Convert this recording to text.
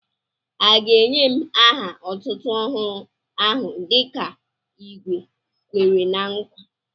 À ga ènyè m aha otútú ọhụrụ áhù dịka igwé Kwèrè ná nkwa?